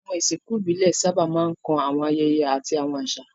Àwọn ìsìnkú ìbílẹ̀ sábà máa ń kan àwọn ayẹyẹ àti awọn áṣá